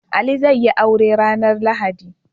Ali zai yi aure ranar lahadi